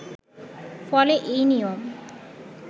ফলে এই নিয়ম